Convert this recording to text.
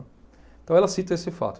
Então ela cita esse fato.